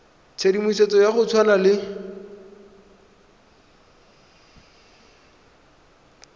tshedimosetso ya go tshwana le